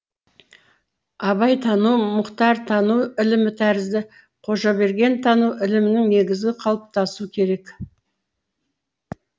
абайтану мұхтартану ілімі тәрізді қожабергентану ілімінің негізі қалыптасу керек